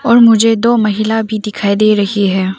और मुझे दो महिला भी दिखाई दे रही है।